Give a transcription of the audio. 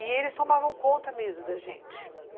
E eles tomavam conta mesmo da gente.